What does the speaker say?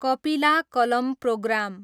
कपिला कलम प्रोग्राम